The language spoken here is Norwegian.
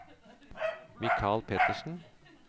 Michael Pettersen